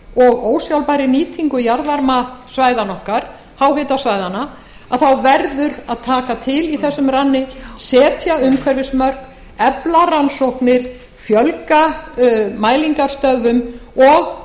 og ósjálfbærri nýtingu jarðvarmasvæðanna okkar háhitasvæðanna verði að taka til í þessum ranni setja umhverfismörk efla rannsóknir fjölga mælingarstöðvum og